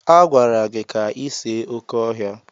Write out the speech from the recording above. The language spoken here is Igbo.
Agwara gị ka ị see oké ọhịa!